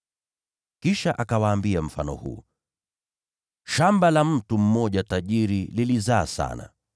Kisha akawaambia mfano huu: “Shamba la mtu mmoja tajiri lilizaa sana.